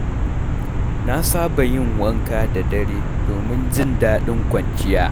Na saba yin wanka da dare domin jin daɗin kwanciya.